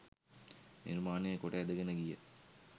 නිර්මාණය කොට ඇදගෙන ගිය